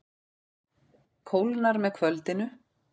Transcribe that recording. Kólnar með kvöldinu